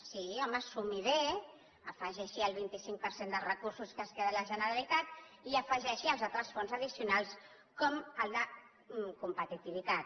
sí home sumi ho bé afegeixi hi el vint cinc per cent de recursos que es queda la generalitat i afegeixi hi els altres fons addicionals com el de competitivitat